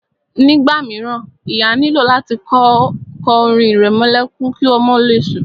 Nígbà míràn, ìyá nílò láti kọ orin ìrẹmọlẹ́kún ki ọmọ le sùn.